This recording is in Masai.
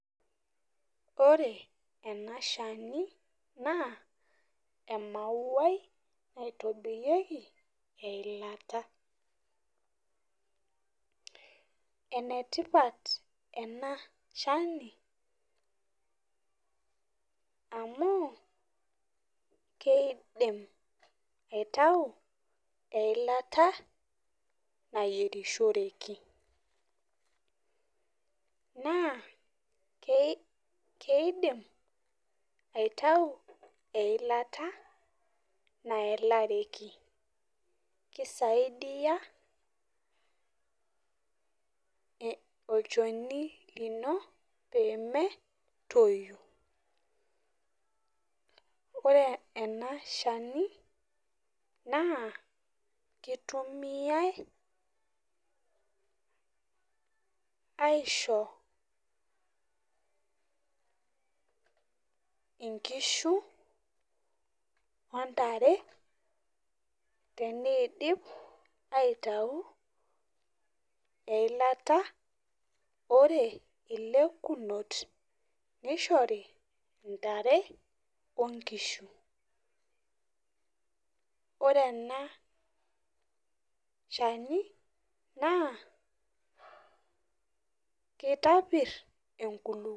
Ore ena shani, naa emauai naitobirieki eilata, enetipat ena shani amu, kidim aitayu eilata nayierishoreki naa, keidim aitayu eilata nayalareki kisaidia eh olchoni lino pee metoyu. Ore ena shani naa kitumiae aisho, inkishu otare teneidip aitayu eilata, ore lenkunot neishori ntare onkishu. Ore ena shani naa, kitapir enkulupuoni.